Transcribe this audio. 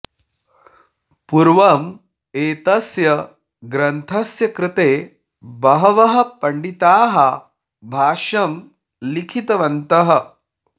पूर्वं एतस्य ग्रन्थस्य कृते बहवः पण्डिताः भाष्यं लिखितवन्तः